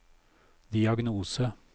diagnose